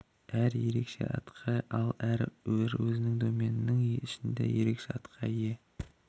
әр ерекше атқа ие ал әр бір өзінің доменінің ішінде ерекше атқа ие